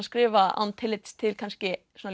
skrifa án tillits til kannski svona